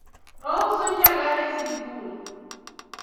ouso njaga e sikul